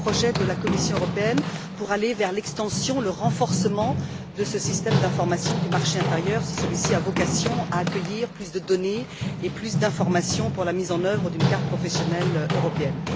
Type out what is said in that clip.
seront les projets de la Commission européenne pour aller vers l'extension, le renforcement de ce système d'information du marché intérieur, si celui ci a vocation à accueillir plus de données et plus d'informations pour la mise en œuvre d'une carte professionnelle européenne?